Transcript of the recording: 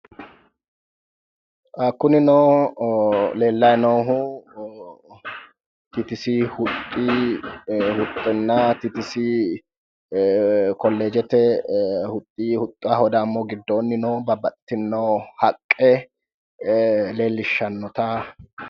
Kunnino leelayi noohu tts huxinna tts koleejete huxi huxaho qoleno gidoonni noo babbaxitino haqe leelishanotte.